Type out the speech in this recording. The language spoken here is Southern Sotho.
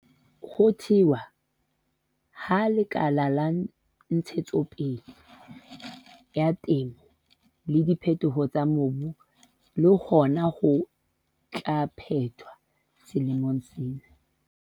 Ho thewa ha Lekala la Ntshetsopele ya Temo le Diphetoho tsa Mobu le hona ho tla phethwa selemong sena.